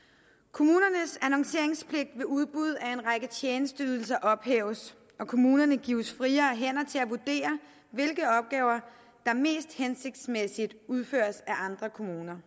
kommunernes annonceringspligt ved udbud af en række tjenesteydelser ophæves og kommunerne gives friere hænder til at vurdere hvilke opgaver der mest hensigtsmæssigt udføres af andre kommuner